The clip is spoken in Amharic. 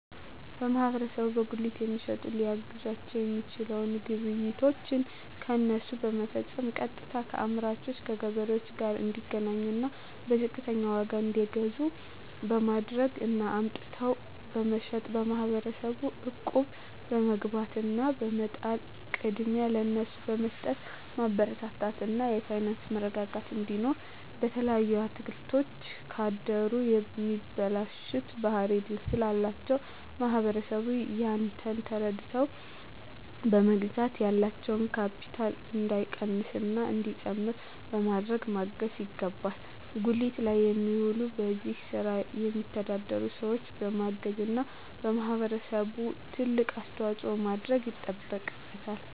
ማህበረሰቡ በጉሊት የሚሸጡትን ሊያግዛቸዉ የሚችለዉ ግብይቶችን ከነሱ በመፈፀም ቀጥታከአምራቹ ከገበሬዎቹ ጋር እንዲገናኙና በዝቅተኛ ዋጋ እንዲገዙ በማድረግ እና አምጥተዉ በመሸጥ ማህበረሰቡ እቁብ በመግባት እና በመጣል ቅድሚያ ለነሱ በመስጠትማበረታታት እና የፋይናንስ መረጋጋት እንዲኖር በተለይ አትክልቶች ካደሩ የመበላሸት ባህሪ ስላላቸዉ ህብረተሰቡ ያንን ተረድተዉ በመግዛት ያላቸዉ ካቢታል እንዳይቀንስና እንዲጨምር በማድረግ ማገዝ ይገባል ጉሊት ላይ የሚዉሉ በዚህ ስራ የሚተዳደሩ ሰዎችን በማገዝና ህብረተሰቡ ትልቅ አስተዋፅኦ ማድረግ ይጠበቅበታል